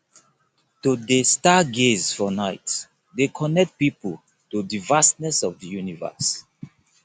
to dey stargaze for nite dey connect pipo to di vastness of di universe